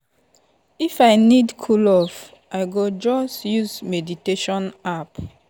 if i need cool off i go just use meditation app.